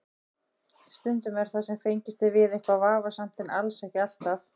Stundum er það sem fengist er við eitthvað vafasamt en alls ekki alltaf.